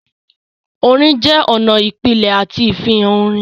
Orin jẹ́ ọ̀nà ìpìlẹ̀ àti ìfihàn orin.